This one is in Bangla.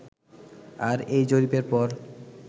আর এই জরিপের পর